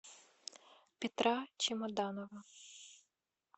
петра чемоданова